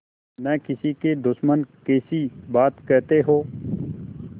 न किसी के दुश्मन कैसी बात कहते हो